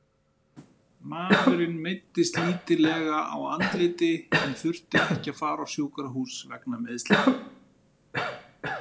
Maðurinn meiddist lítillega á andliti en þurfti ekki að fara á sjúkrahús vegna meiðslanna.